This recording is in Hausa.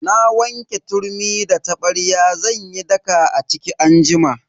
Na wanke turmi da tabarya zan yi daka a ciki anjima.